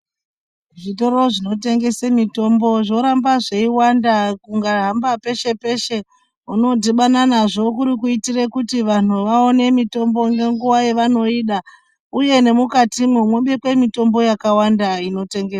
Zvitoro zvinotengese mitombo zvoramba zveiwanda ukahamba peshe peshe unodibana nazvo. Kuri kuitira kuti vanthu vaone mitombo ngenguwa yevanoida uye nemukatimwo mubikwe mitombo takawanda inotengeswa.